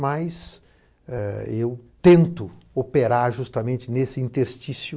Mas, eh, eu tento operar justamente nesse interstício